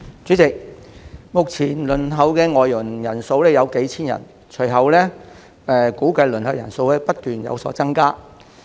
主席，目前輪候的外傭有數千名，估計未來輪候人數會不斷增加。